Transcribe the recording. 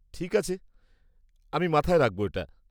ঠিক আছে, আমি মাথায় রাখব এটা।